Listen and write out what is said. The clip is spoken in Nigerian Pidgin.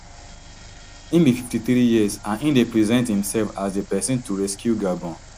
im be fifty-three years and im dey present imsef as di pesin to rescue gabon